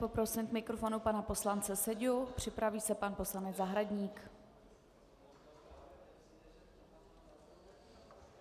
Poprosím k mikrofonu pana poslance Seďu, připraví se pan poslanec Zahradník.